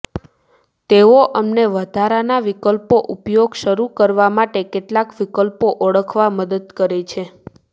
તેઓ અમને વધારાના વિકલ્પો ઉપયોગ શરૂ કરવા માટે કેટલાક વિકલ્પો ઓળખવા મદદ કરે છે